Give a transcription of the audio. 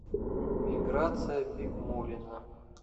миграция бикмуллина